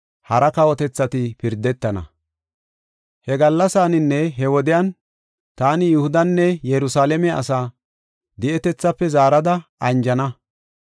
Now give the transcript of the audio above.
“He gallasaninne he wodiyan taani Yihudanne Yerusalaame asaa di7etethaafe zaarada anjana.